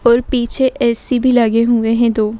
और पीछे ए.सी. भी लगे हुए हैं दो।